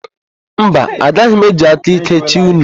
Mba, agaghị m eji aka íké chịa unu.